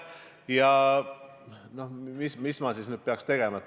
Ja mis ma siis nüüd tegema peaks?